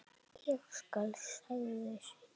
Ég skal, sagði Siggi.